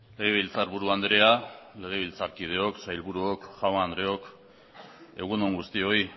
legebiltzarburu andrea legebiltzarkideok sailburuok jaun andreok egun on guztioi